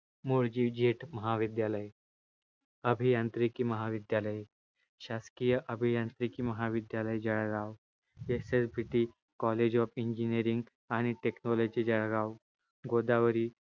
मुळजीजेठ महाविद्यालय अभियांत्रिकी महाविद्यालय शासकीय अभियांत्रिकी महाविद्यालय Jalgaon SSBT college of engineering and technology Jalgaon, Godavari